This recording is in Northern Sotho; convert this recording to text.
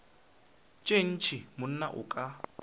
tša ntshe monna o ka